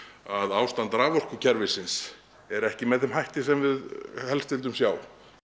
að ástand raforkukerfisins er ekki með þeim hætti sem við flest vildum sjá